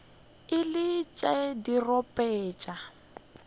e le tša dirope tša